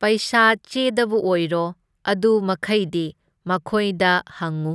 ꯄꯩꯁꯥ ꯆꯦꯗꯕꯨ ꯑꯣꯏꯔꯣ, ꯑꯗꯨ ꯃꯈꯩꯗꯤ ꯃꯈꯣꯏꯗ ꯍꯪꯉꯨ,